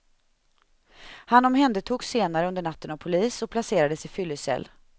Han omhändertogs senare under natten av polis och placerades i fyllecell.